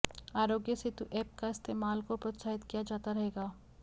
आरोग्य सेतु ऐप के इस्तेमाल को प्रोत्साहित किया जाता रहेगा